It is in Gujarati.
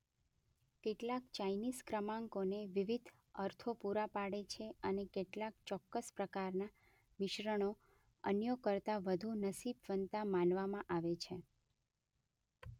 કેટલાક ચાઇનીઝ ક્રમાંકોને વિવિધ અર્થો પૂરા પાડે છે અને કેટલાક ચોક્કસ પ્રકારના મિશ્રણો અન્યો કરતા વધુ નસીબવંતા માનવામાં આવે છે.